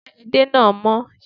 Ṣé edé náà mọ́?